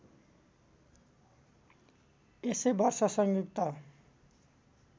त्यसै वर्ष संयुक्त